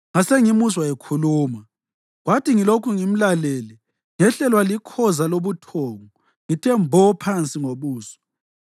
Ngasengimuzwa ekhuluma, kwathi ngilokhu ngimlalele, ngehlelwa likhoza lobuthongo ngithe mbo phansi ngobuso.